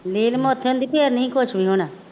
ਇਹ ਨਹੀਂ ਕੁੱਛ ਵੀ ਹੋਣਾ